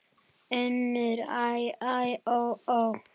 UNNUR: Æ, æ, ó, ó!